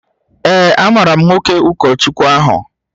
Ee, amaara m nwoke ụkọchukwu ahụ